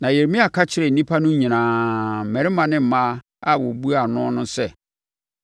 Na Yeremia ka kyerɛɛ nnipa no nyinaa, mmarima ne mmaa a wɔrebua noɔ no sɛ,